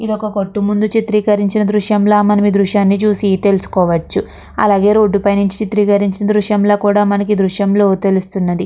ఏది వక కోటు ముదు చిత్రము లాగా మనకు కనిపెస్తునది ఇక్కడ ద్రుశము లో మనకు ఇక్కడతెలుసుకోవచ్చు మనకు ఇక్కడ చాల మచిగా ద్రుశము గ కనిపెస్తునది ఇక్కడ మనకు తెలుస్తున్నది..